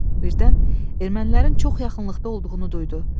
Birdən ermənilərin çox yaxınlıqda olduğunu duydu.